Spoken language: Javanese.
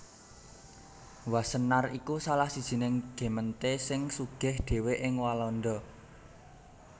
Wassenaar iku salah sijining gemeente sing sugih dhéwé ing Walanda